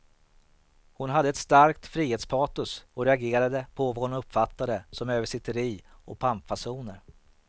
Hon hade ett starkt frihetspatos och reagerade på vad hon uppfattade som översitteri och pampfasoner.